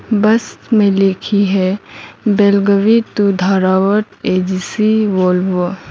बस में लिखी है Belagavi to Dharwad AGC Volvo.